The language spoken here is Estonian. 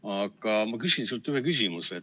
Aga ma küsin ühe küsimuse.